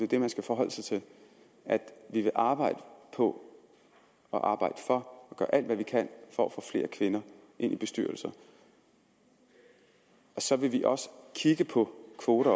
det man skal forholde sig til at vi vil arbejde på og arbejde for at gøre alt hvad vi kan for at få flere kvinder ind i bestyrelser og så vil vi også kigge på kvoter